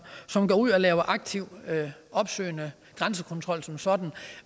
som går ud og laver aktiv opsøgende grænsekontrol som sådan